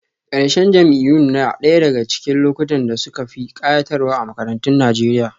Ƙarshen jam'iyyun na ɗaya daga cikin lokutan da suka fi kayatarwa a makarantun Najeriya